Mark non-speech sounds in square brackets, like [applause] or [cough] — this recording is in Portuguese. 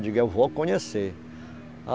Digo, eu vou conhecer. [unintelligible]